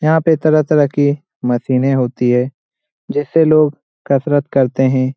यहाँ पे तरह-तरह की मशीनें होती हैं जिससे लोग कसरत करते हैं।